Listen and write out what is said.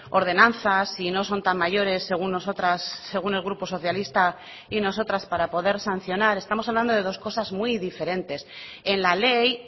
ordenanzas si no son tan mayores según nosotras según el grupo socialista y nosotras para poder sancionar estamos hablando de dos cosas muy diferentes en la ley